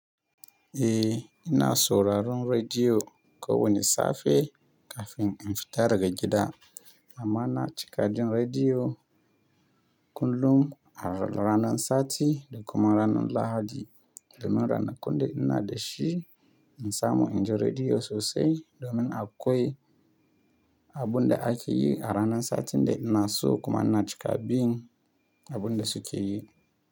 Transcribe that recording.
Eh ina souraron rediyo ko wane safe kafin in fita daga gida. Amman na cika jin rediyo kullum a ranan sati da kuma ranar Lahadi. Domin rana kunda ina da shi in samu injin rediyo sosai domin a kwai abun da ake yi a ranan satin da ina so kuma ina cika bin abun da suke yi.